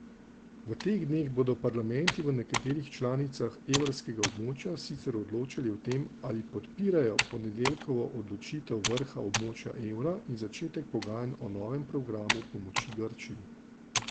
V teh dneh bodo parlamenti v nekaterih članicah evrskega območja sicer odločali o tem, ali podpirajo ponedeljkovo odločitev vrha območja evra in začetek pogajanj o novem programu pomoči Grčiji.